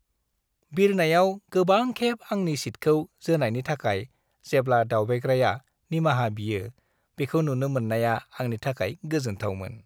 बिरनायाव गोबां खेब आंनि सीटखौ जोनायनि थाखाय जेब्ला दावबायग्राया निमाहा बियो बेखौ नुनो मोन्नाया आंनि थाखाय गोजोनथावमोन।